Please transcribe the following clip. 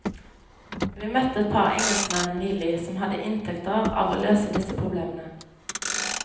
Vi møtte et par engelskmenn nylig som hadde inntekter av å løse disse problemene.